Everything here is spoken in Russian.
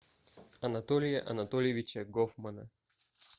анатолия анатольевича гофмана